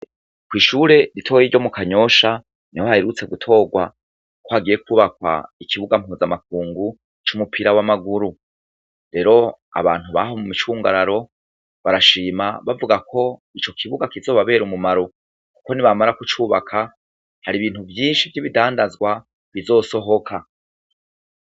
Ko'ishure ritoye ryo mu kanyosha ni ho hayirutse gutorwa ko hagiye kubakwa ikibuga mpuza amakungu c'umupira w'amaguru rero abantu baha mu micungararo barashima bavuga ko ico kibuga kizobabera umumaru, kuko ni bamara kucubaka hari ibintu vyinshi vy'ibidandazwa bizosoba hoka.